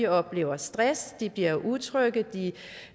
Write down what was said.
oplever stress at de bliver utrygge